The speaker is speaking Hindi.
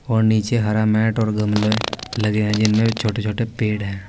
और नीचे हरा मैट और गमले लगे हैं जिनमे छोटे छोटे पेड़ हैं।